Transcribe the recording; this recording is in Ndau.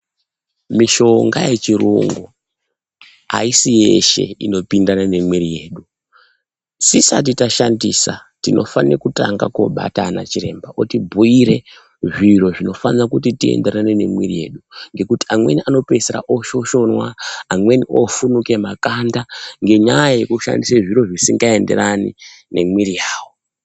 Mishonga yechiyungu ayisi yeshe inopinda nemwiri mwedu. Tisati tashandisa tinofana kutanga Kobata ana chiremba vokubhuyire zviro zvinofana kuti iyenderane nemwiri yedu ngokuti amweni anopedzisira oshoshona amweni ofunuka makanda ngenyaya yekushandisa zviro zvisingaenderani nemwiri yavo.